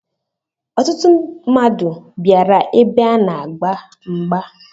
Ọtụtụ mmadụ bịara ebe a na agba mgba.